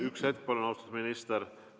Üks hetk, palun, austatud minister!